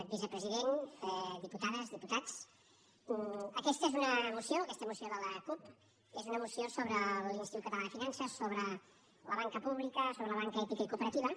vicepresident diputades diputats aquesta moció de la cup és una moció sobre l’institut català de finances sobre la banca pública sobre la banca ètica i cooperativa